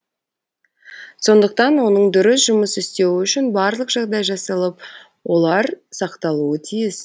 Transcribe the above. сондықтан оның дұрыс жұмыс істеуі үшін барлық жағдай жасалып олар сақталуы тиіс